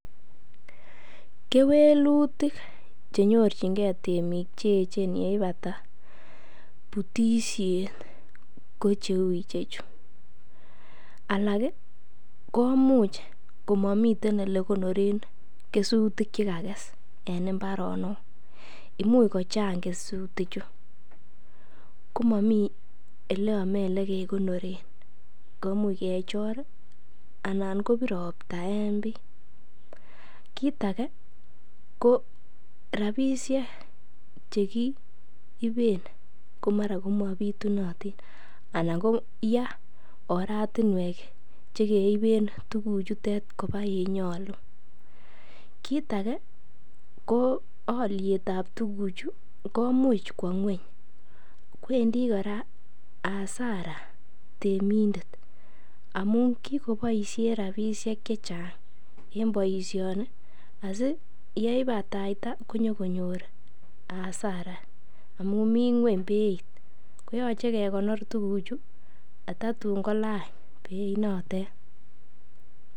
Kewelutik chenyorchingen temik cheechen yeipata putisiet ko cheu ichechu, alak koimuch komomiten elekonoren kesutik chekages en mbaronok, imuch kochang' kesutichu komomi oleome olekegonoren, koimuch kechor alan kobir ropta en bii, kiit age ko rabisiek chegiiben komara komabitunatin anan ko yaa oratinuek chekeiben tuguchutet kobaa yenyolu, kiit age ko olyet ab tuguchu koimuch kwo nyweny, kwendi kora hasara temindet amun kigoboisien rabisiek chechang' en boisioni asiyeibataita konyokonyor hasara amun mii nyweny beit koyoche kegonor tuguchu kotatun kolany beinotet.